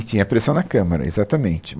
E tinha a pressão na Câmara, exatamente.